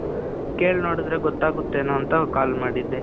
ಕೇಳ್ ನೋಡಿದ್ರೆ ಗೊತ್ತಾಗುತ್ತೇನೋ ಅಂತ call ಮಾಡಿದ್ದೆ.